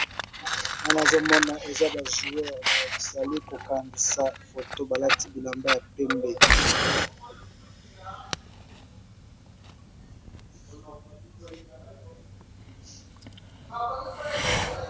Wana nazomona eza ba joueur bazali kokangisa foto balati bilamba ya pembe.